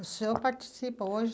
O senhor participa hoje?